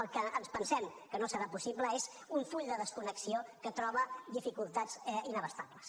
el que ens pensem que no serà possible és un full de desconnexió que troba dificultats inabastables